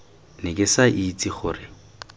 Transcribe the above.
ne ke sa itse gore